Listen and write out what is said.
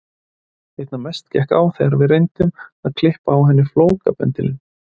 Einna mest gekk á þegar við reyndum að klippa á henni flókabendilinn.